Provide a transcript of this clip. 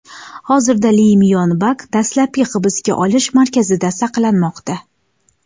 Hozirda Li Myon Bak dastlabki hibsga olish markazida saqlanmoqda.